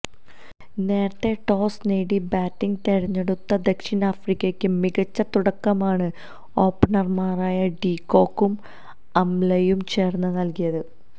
നേരത്തെ ടോസ് നേടി ബാറ്റിംഗ് തെരഞ്ഞെടുത്ത ദക്ഷിണാഫ്രിക്കക്ക് മികച്ച തുടക്കമാണ് ഓപ്പണര്മാരായ ഡി കോക്കും ആംലയും ചേര്ന്ന് നല്കിയത്